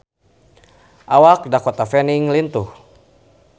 Awak Dakota Fanning lintuh